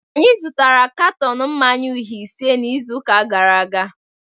Anyị zụtara katọn mmanya uhie ise n'izu gara aga